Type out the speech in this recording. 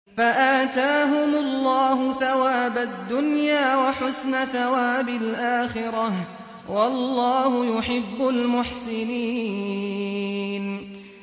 فَآتَاهُمُ اللَّهُ ثَوَابَ الدُّنْيَا وَحُسْنَ ثَوَابِ الْآخِرَةِ ۗ وَاللَّهُ يُحِبُّ الْمُحْسِنِينَ